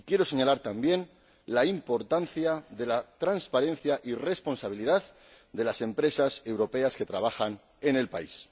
Quiero señalar, también, la importancia de la transparencia y la responsabilidad de las empresas europeas que trabajan en el país.